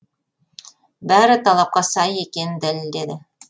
бәрі талапқа сай екенін дәлелдеді